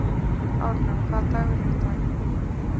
Árlaug, hvaða dagur er í dag?